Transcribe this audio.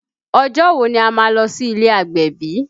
Ọjọ́ wo ni a má lọ sí ilé agbẹ̀bí?